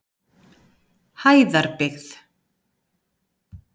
Hæðarbyggð